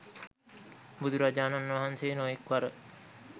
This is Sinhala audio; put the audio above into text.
බුදුරජාණන් වහන්සේ නොයෙක් වර